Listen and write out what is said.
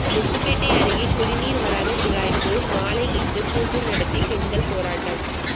முத்துப்பேட்டை அருகே குடிநீர் வராத குழாய்க்கு மாலையிட்டு பூஜை நடத்தி பெண்கள் போராட்டம்